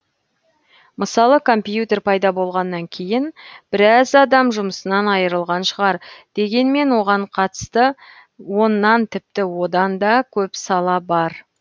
мысалы компьютер пайда болғаннан кейін біраз адам жұмысынан айырылған шығар дегенмен оған қатысты оннан тіпті одан да көп сала бар